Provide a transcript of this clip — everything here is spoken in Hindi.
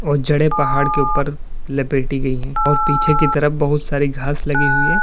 बहुत जड़े पहाड़ के ऊपर लपेटी गई है और पीछे की तरफ बहुत सारी घास लगी हुई है।